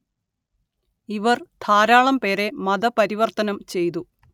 ഇവര്‍ ധാരാളം പേരെ മത പരിവര്‍ത്തനം ചെയ്തു